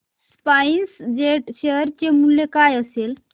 spice jet share चे मूल्य काय असेल